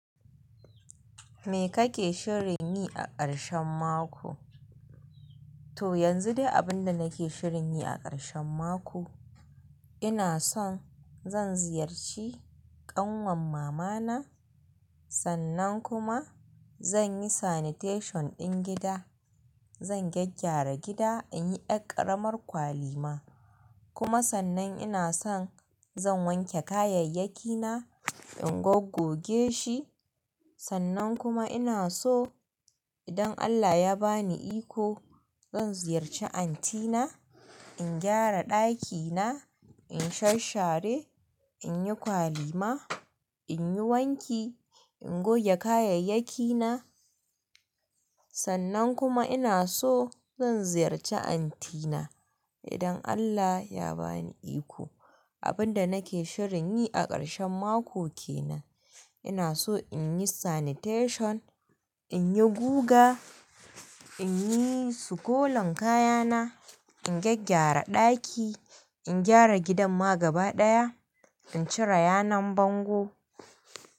Me kake shirin yi a ƙarshen mako? To yanzu dai abin da nake shirin yi a ƙarshen mako, ina son zan ziyarci ƙanwar mama na, sannan kuma zan yi tsaftar muhalli ɗin gida. Zan gyaggyara gida, in yi ƙaramar kwali ma. Kuma sannan ina son zan wanke kayayyakina, in gogoge shi. Sannan kuma ina so idan Allah ya ba ni iko, zan ziyarci anti na, in gyara ɗakina, in sharshare, in yi kwali ma, in yi wanki, in goge kayayyaki na. Sannan kuma ina so zan ziyarci anti na idan Allah ya ba ni iko. Abin da nake shirin yi a ƙarshen mako ke nan. Ina so in yi tsaftar muhalli, in yi guga, in yi sukolan kayana, in gyaggyara ɗaki, in gyara gidan ma gaba ɗaya, in cire yanar bango.